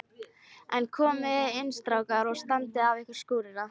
En komiði inn strákar og standið af ykkur skúrina.